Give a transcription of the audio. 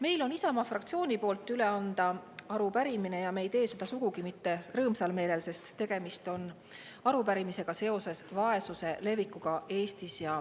Meil on Isamaa fraktsiooni poolt üle anda arupärimine ja me ei tee seda sugugi mitte rõõmsal meelel, sest tegemist on arupärimisega seoses vaesuse levikuga Eestis.